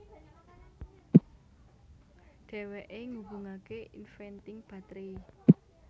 Dhèwèké ngubungaké inventing batré